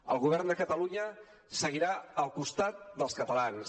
el govern de catalunya seguirà al costat dels catalans